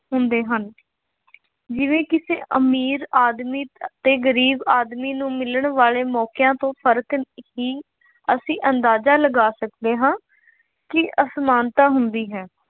ਹੁੰਦੇ ਹਨ। ਜਿਵੇਂ ਕਿਸੇ ਅਮੀਰ ਆਦਮੀ ਅਤੇ ਗਰੀਬ ਆਦਮੀ ਨੂੰ ਮਿਲਣ ਵਾਲੇ ਮੌਕਿਆਂ ਤੋਂ ਫਰਕ ਹੀ ਅਸੀਂ ਅੰਦਾਜ਼ਾ ਲਗਾ ਸਕਦੇ ਹਾਂ ਕਿ ਅਸਮਾਨਤਾ ਹੁੰਦੀ ਹੈ